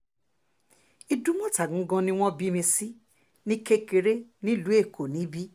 ìdùmọ̀ta gangan ni wọ́n bí mi sí ní kékeré nílùú èkó níbí